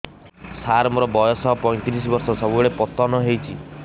ସାର ମୋର ବୟସ ପୈତିରିଶ ବର୍ଷ ସବୁବେଳେ ପତନ ହେଉଛି